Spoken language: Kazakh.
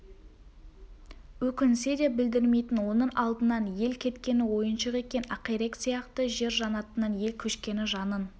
өкінсе де білдірмейтін оның алдынан ел кеткені ойыншық екен ақирек сияқты жер жаннатынан ел көшкені жанын